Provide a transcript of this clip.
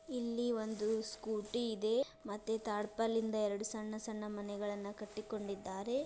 ಇಲ್ಲಿ ಒಂದು ಸ್ಕೂಟಿ ಇದೆ ಮತ್ತೆ ಟಾರ್ಪಲ್ ದಿಂದ ಎರಡು ಸಣ್ಣ ಸಣ್ಣ ಮನೆಗಳನ್ನು ಕಟ್ಟಿಕೊಂಡಿದ್ದಾರೆ.